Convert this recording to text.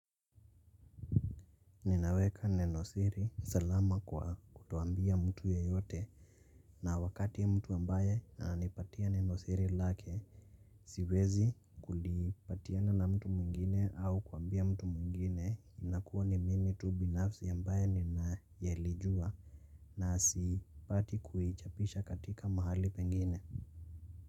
Ninaweka nenosiri salama kwa kutoambia mtu ye yote na wakati ya mtu ambaye ananipatia nenosiri lake siwezi kulipatiana na mtu mwingine au kuambia mtu mwingine inakuwa ni mimi tubinafsi ambaye ninaelijua na sipati kuhichapisha katika mahali pengine.